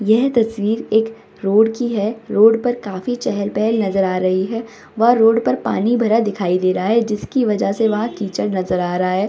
यह तस्वीर एक रोड की है रोड पर काफी चेहेल-पेहेल नजर आ रही है वह रोड पर पानी भरा दिखाई दे रहा है जिसकी वजह से वहां कीचड़ नजर आ रहा है।